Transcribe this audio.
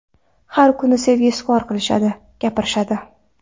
Har kuni sevgi izhor qilishadi, gapirishadi.